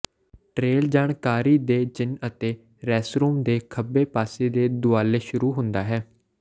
trail ਜਾਣਕਾਰੀ ਦੇ ਚਿੰਨ੍ਹ ਅਤੇ ਰੈਸਰੂਮ ਦੇ ਖੱਬੇ ਪਾਸੇ ਦੇ ਦੁਆਲੇ ਸ਼ੁਰੂ ਹੁੰਦਾ ਹੈ